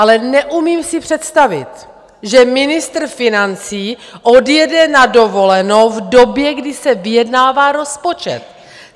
Ale neumím si představit, že ministr financí odjede na dovolenou v době, kdy se vyjednává rozpočet!